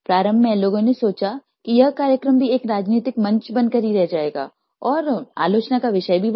प्रारम्भ में लोगों ने सोचा कि यह कार्यक्रम भी एक राजनीतिक मंच बनकर ही रह जाएगा और आलोचना का विषय भी बना